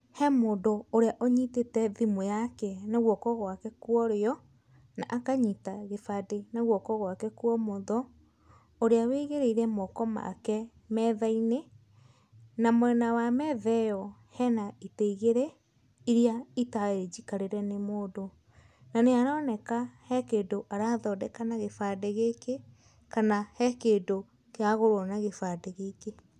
He mũndũ ũrĩa ũnyitĩte thimũ yake na guoko gwake kwa ũrĩo, na akanyita gĩbande na guoko gwake kwa ũmotho, ũrĩa wĩigĩrĩire moko make metha-inĩ, na mwena wa metha ĩyo hena itĩ igĩrĩ iria itarĩ njikarĩre nĩ mũndũ. Na nĩ aroneka he kĩndũ arathondeka na gĩbande gĩkĩ, kana he kĩndũ kĩragũrwo na gĩbande gĩkĩ.